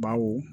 Bawo